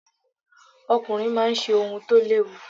Ọkùnrin máa ń ṣe ohun tó léwu.